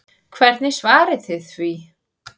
Hvernig svarið þið því?